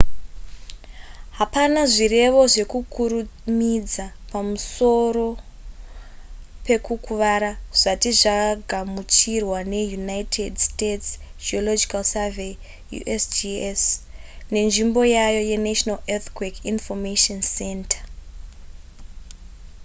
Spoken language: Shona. hapana zvirevo zvekukurumidza pamusoro pekukuvara zvati zvagamuchirwa neunited states geological survey usgs nenzvimbo yayo yenational earthquake information center